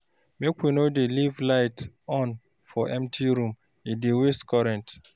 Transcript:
Make we no dey leave light on for empty room, e dey waste current.